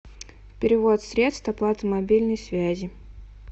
перевод средств оплата мобильной связи